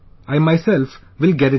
I myself will get it done